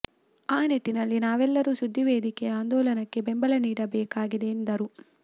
ಆ ನಿಟ್ಟಿನಲ್ಲಿ ನಾವೆಲ್ಲರೂ ಸುದ್ದಿ ವೇದಿಕೆಯ ಆಂದೋಲನಕ್ಕೆ ಬೆಂಬಲ ನೀಡಬೇಕಾಗಿದೆ ಎಂದರು